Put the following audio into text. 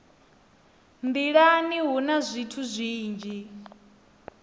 nḓilani hu na zwithu zwinzhi